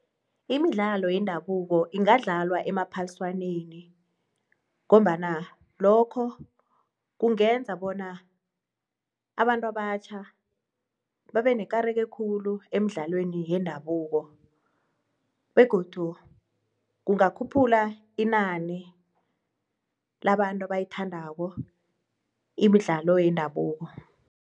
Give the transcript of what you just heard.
Imidlalo yendabuko ingadlalwa emaphaliswaneni ngombana lokho kungenza bona abantu abatjha babenekareko khulu khulu emidlalweni yendabuko begodu kungakhuphula inani labantu abayithandako imidlalo yendabuko.